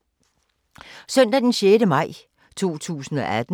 Søndag d. 6. maj 2018